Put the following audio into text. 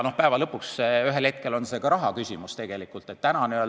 Päeva lõpuks ühel hetkel on see tegelikult ka raha küsimus.